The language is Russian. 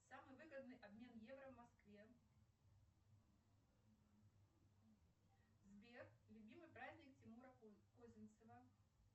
самый выгодный обмен евро в москве сбер любимый праздник тимура козинцева